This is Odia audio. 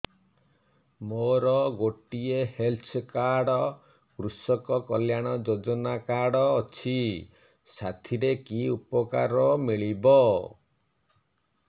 ମୋର ଗୋଟିଏ ହେଲ୍ଥ କାର୍ଡ କୃଷକ କଲ୍ୟାଣ ଯୋଜନା କାର୍ଡ ଅଛି ସାଥିରେ କି ଉପକାର ମିଳିବ